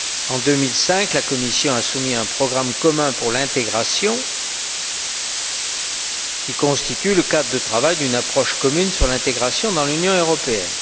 En 2005, la Commission a soumis un programme commun pour l'intégration, qui constitue le cadre de travail d'une approche commune sur l'intégration dans l'Union européenne.